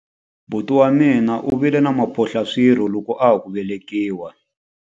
Buti wa mina u vile na mphohlaswirho loko a ha ku velekiwa.